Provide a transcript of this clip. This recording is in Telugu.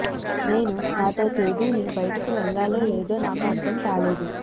నేను నాతో తేదీని బయటకు వెళ్ళాలో లేదో నాకు అర్థం కాలేదు